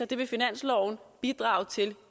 det vil finansloven bidrage